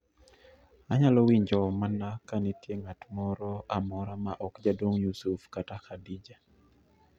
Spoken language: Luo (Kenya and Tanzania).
Anyalo winjo mana ka nitie ng'at moro amora ma ok jaduong' yusuf kata khadija